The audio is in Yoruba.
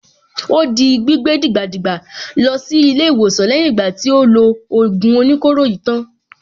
Ó di gbígbé dìgbàdìgbà lọ sí ilé-ìwòsàn lẹ́yìn ìgbà tí ó lo ògùn oníkóro yìí tán.